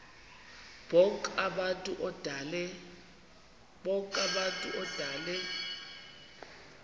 bonk abantu odale